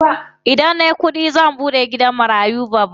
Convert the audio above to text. Idan nayi kuɗi zan buɗe gidan marayu babba.